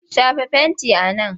Shafa fentin a man!